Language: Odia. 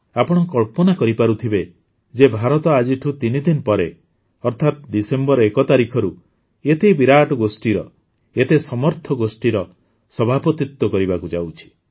ଆପଣ କଳ୍ପନା କରିପାରୁଥିବେ ଯେ ଭାରତ ଆଜିଠୁ ୩ ଦିନ ପରେ ଅର୍ଥାତ୍ ଡିସେମ୍ବର ୧ ତାରିଖରୁ ଏତେ ବିରାଟ ଗୋଷ୍ଠୀର ଏତେ ସମର୍ଥ ଗୋଷ୍ଠୀର ସଭାପତିତ୍ୱ କରିବାକୁ ଯାଉଛି